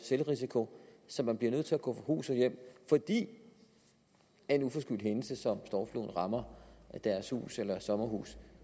selvrisiko så man bliver nødt til at gå fra hus og hjem fordi en uforskyldt hændelse som stormfloden rammer ens hus eller sommerhus